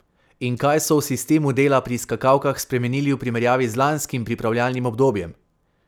In kaj so v sistemu dela pri skakalkah spremenili v primerjavi z lanskim pripravljalnim obdobjem?